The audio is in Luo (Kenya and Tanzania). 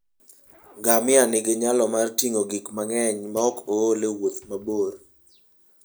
Ngamia nigi nyalo mar ting'o gik mang'eny maok ool e wuoth mabor.